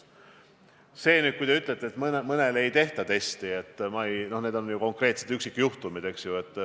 Kui te ütlete, et mõnele ei tehta testi, siis need on ju konkreetsed üksikjuhtumid, eks ole.